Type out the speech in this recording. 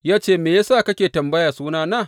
Ya ce, Me ya sa kake tambaya sunana?